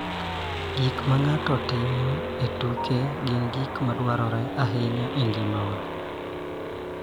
Gik ma ng�ato timo e tuke gin gik ma dwarore ahinya e ngima wa.